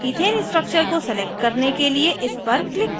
ethane structure को select करने के लिए इस पर click करें